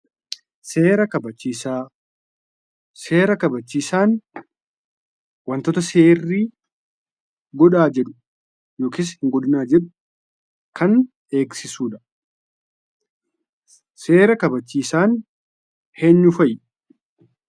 Seera kaabachiisaa. Seera kaabachiisaan wantoota serri godhaa jedhuu yookiis hin godhinnaa jedhuu kan eegsisuudha. Seera kaabachiisaan eenyuu fa'i?